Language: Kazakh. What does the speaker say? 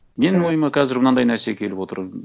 менің ойыма қазір мынандай нәрсе келіп отыр